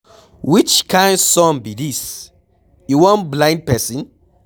Which kin sun be dis? E wan blind person?